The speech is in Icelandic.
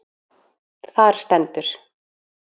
Þar stendur:.